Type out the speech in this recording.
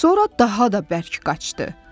Sonra daha da bərk qaşdı.